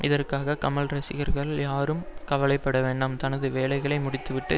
இதற்காக கமல் ரசிகர்கள் யாரும் கவலை பட வேண்டாம் தனது வேலைகளை முடித்துவிட்டு